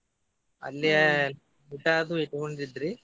ಅಲ್ಲೆ ಊಟಾದು ಇಟ್ಗೊಂಡಿದ್ರಿ.